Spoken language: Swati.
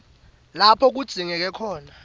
lapho kudzingeke khona